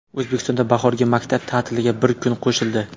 O‘zbekistonda bahorgi maktab ta’tiliga bir kun qo‘shildi.